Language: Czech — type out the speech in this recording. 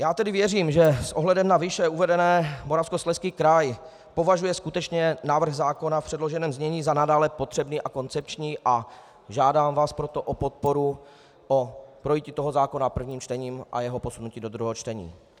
Já tedy věřím, že s ohledem na výše uvedené Moravskoslezský kraj považuje skutečně návrh zákona v předloženém znění za nadále potřebný a koncepční, a žádám vás proto o podporu, o projití toho zákona prvním čtením a jeho posunutí do druhého čtení.